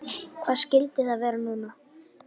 Hvað skyldi það vera núna?